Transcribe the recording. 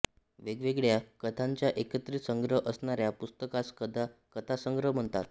वेगवेगळ्या कथांचा एकत्रित संग्रह असणाऱ्या पुस्तकास कथासंग्रह म्हणतात